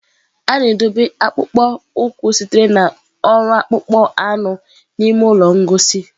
A na-edobe akpụkpọ ụkwụ sitere na ọrụ akpụkpọ anụ n'ime ụlọ ngosi.